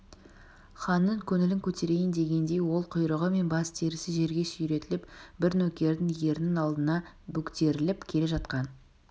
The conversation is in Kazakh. ханның көңілін көтерейін дегендей ол құйрығы мен бас терісі жерге сүйретіліп бір нөкердің ерінің алдына бөктеріліп келе жатқан